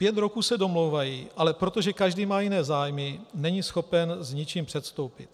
Pět roků se domlouvají, ale protože každý má jiné zájmy, není schopen s ničím předstoupit.